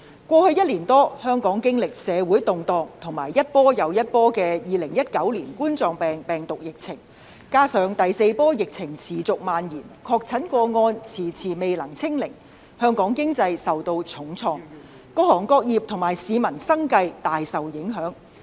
過去一年多，香港經歷社會動盪和一波接一波的2019冠狀病毒病疫情，加上第四波疫情持續蔓延，確診個案遲遲未能"清零"，香港經濟受到重創，各行各業和市民的生計均大受影響。